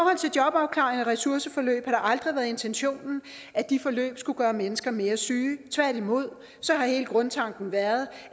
ressourceforløb har det aldrig været intentionen at de forløb skulle gøre mennesker mere syge tværtimod har hele grundtanken været